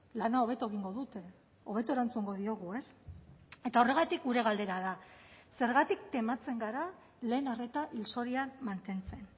lana hobeto egingo dute hobeto erantzungo diogu eta horregatik gure galdera da zergatik tematzen gara lehen arreta hil zorian mantentzen